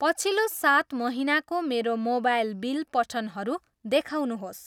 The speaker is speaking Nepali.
पछिल्लो सात महिनाको मेरो मोबाइल बिल पठनहरू देखाउनुहोस्।